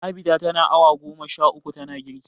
Abida tana awa goma sha uku tana girki.